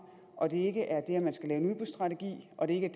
og det ikke er det at man skal lave en udbudsstrategi og det ikke er